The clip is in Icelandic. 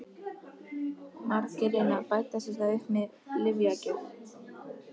Margir reyna að bæta sér það upp með lyfjagjöf.